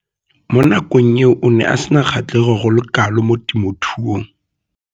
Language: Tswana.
Mo nakong eo o ne a sena kgatlhego go le kalo mo temothuong.